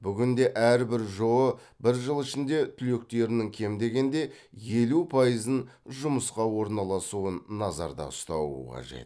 бүгінде әрбір жоо бір жыл ішінде түлектерінің кем дегенде елу пайызын жұмысқа орналасуын назарда ұстауы қажет